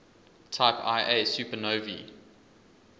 type ia supernovae